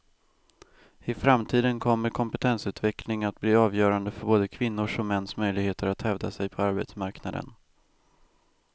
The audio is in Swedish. I framtiden kommer kompetensutveckling att bli avgörande för både kvinnors och mäns möjligheter att hävda sig på arbetsmarknaden.